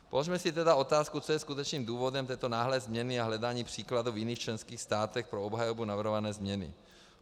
Položme si tedy otázku, co je skutečným důvodem této náhlé změny a hledání příkladů v jiných členských státech pro obhajobu navrhované změny.